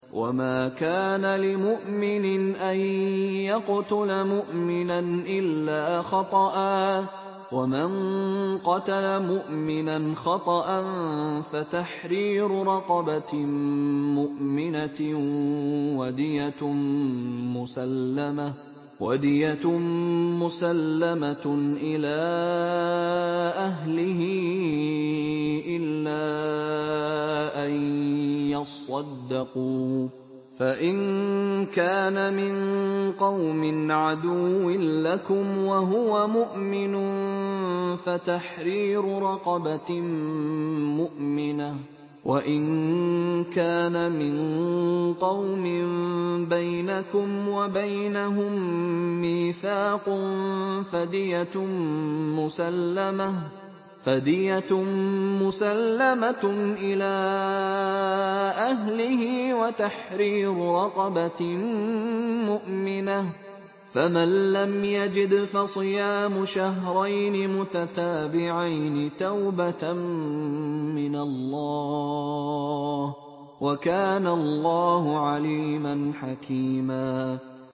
وَمَا كَانَ لِمُؤْمِنٍ أَن يَقْتُلَ مُؤْمِنًا إِلَّا خَطَأً ۚ وَمَن قَتَلَ مُؤْمِنًا خَطَأً فَتَحْرِيرُ رَقَبَةٍ مُّؤْمِنَةٍ وَدِيَةٌ مُّسَلَّمَةٌ إِلَىٰ أَهْلِهِ إِلَّا أَن يَصَّدَّقُوا ۚ فَإِن كَانَ مِن قَوْمٍ عَدُوٍّ لَّكُمْ وَهُوَ مُؤْمِنٌ فَتَحْرِيرُ رَقَبَةٍ مُّؤْمِنَةٍ ۖ وَإِن كَانَ مِن قَوْمٍ بَيْنَكُمْ وَبَيْنَهُم مِّيثَاقٌ فَدِيَةٌ مُّسَلَّمَةٌ إِلَىٰ أَهْلِهِ وَتَحْرِيرُ رَقَبَةٍ مُّؤْمِنَةٍ ۖ فَمَن لَّمْ يَجِدْ فَصِيَامُ شَهْرَيْنِ مُتَتَابِعَيْنِ تَوْبَةً مِّنَ اللَّهِ ۗ وَكَانَ اللَّهُ عَلِيمًا حَكِيمًا